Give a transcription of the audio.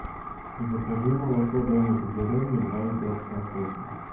закажи молоко домик в деревне два и пять процента